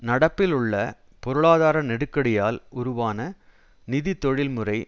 நடப்பில் உள்ள பொருளாதார நெருக்கடியால் உருவான நிதி தொழில்முறை